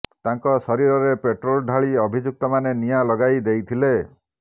ତାଙ୍କ ଶରୀରରେ ପେଟ୍ରୋଲ ଢାଳି ଅଭିଯୁକ୍ତମାନେ ନିଆଁ ଲଗାଇ ଦେଇଥିଲେ